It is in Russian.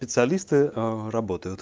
специалисты ээ работают